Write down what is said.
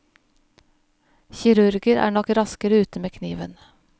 Kirurger er nok raskere ute med kniven.